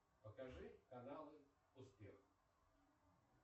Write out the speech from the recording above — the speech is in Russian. покажи каналы успех